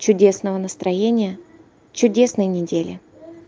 чудесного настроения чудесной недели